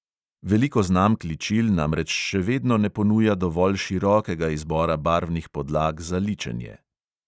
Veliko znamk ličil namreč še vedno ne ponuja dovolj širokega izbora barvnih podlag za ličenje.